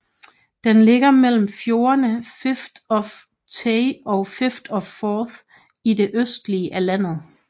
Den ligger mellem fjordene Firth of Tay og Firth of Forth i det østlige af landet